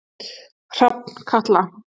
Hrafnkatla